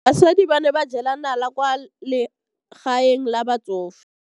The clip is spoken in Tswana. Basadi ba ne ba jela nala kwaa legaeng la batsofe.